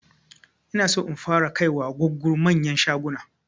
Inaso in fara kai gugguru manyan shaguna